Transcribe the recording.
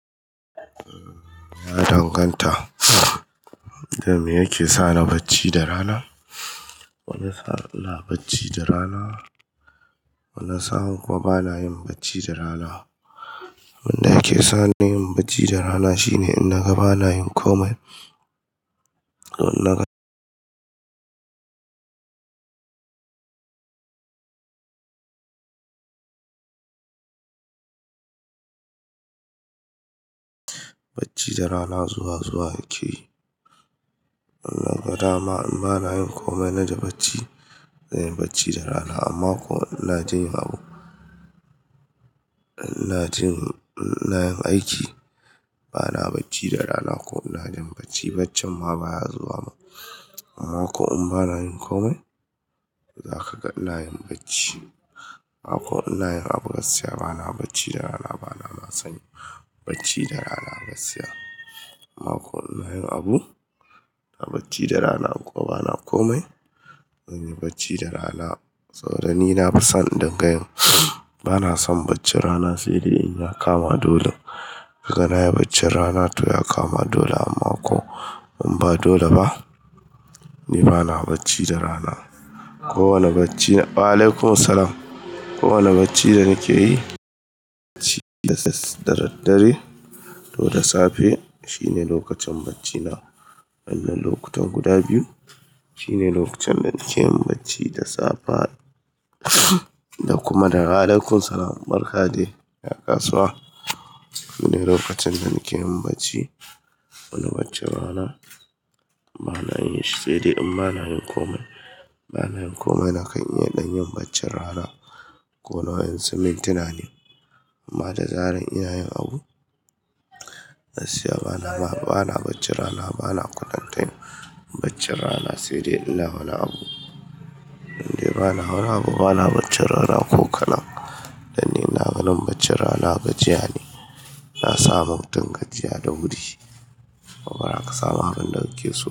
Ya danganta, da me yake sa na bacci da rana? Wani sa'an na bacci da rana, wani sa'an kuwa bana yin bacci da rana. Wanda yake sa na yin bacci da rana shine in naga bana yin komai. Bacci da rana zuwa zuwa yake yi. Naga dama in bana yin komai na ji bacci, na yi bacci da rana. Amma ko in na je abo, ina jin ina yin aiki, bana bacci da rana ko in na jin bacci, bacci ma baya zuwa ma. Amma ko in bana yin komai, za ka ga ina yin bacci. Amma ko in na yin abun gaskiya, bana bacci da rana. Bana ma san bacci da rana a gaskiya. Amma ko in na yin abu, na bacci da rana ko bana komai, ban yi bacci da rana. Saboda ni na fi son din gayin, bana son baccin rana, sai dai in ya kama dole. Kaka na ya bacci rana to ya kama dole, amma ko in ba dole ba, ni bana bacci da rana. Kowane bacci na-- wa'alaikum salam, kowane bacci da nake yi, bacci da dare to da safe shine lokacin bacci na. Wannnan lokutan guda biyu shine lokacin da nake yin bacci, da safe da kuma dare. Wa'alaikum salam barkade ya kasuwa, shine lokacin da nake yin bacci. Wani bacci rana bana yin shi sai dai in bana yin komai. Bana yin komai na kai in ya ɗan yin bacci rana ko na yin simintina ne. Amma da zaran ina yin abu a gaskiya bana ma, bana bacci rana. Bana kwatanta yin bacci rana sai dai in na hana abu. Sai dai bana wani abu, bana bacci rana ko ka na. Dan nina ganin bacci rana gajiya ne, na samu dangajiya da wuri. Kuma baza ka samu abin da kake so?